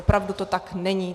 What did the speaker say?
Opravdu to tak není.